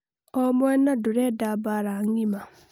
omwena ndurenda mbara ng'ima